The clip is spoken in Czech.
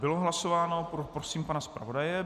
Bylo hlasováno - poprosím pana zpravodaje.